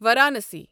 Varanasi